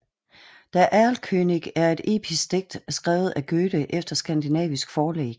Der Erlkönig er et episk digt skrevet af Goethe efter skandinavisk forlæg